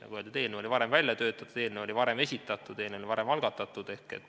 Nagu öeldud, eelnõu oli varem välja töötatud, eelnõu oli varem esitatud, eelnõu oli varem algatatud.